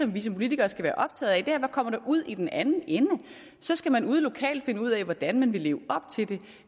vi som politikere skal være optaget af hvad kommer der ud i den anden ende så skal man ude lokalt finde ud af hvordan man vil leve op til det